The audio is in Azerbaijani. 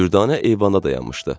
Dürdanə eyvanda dayanmışdı.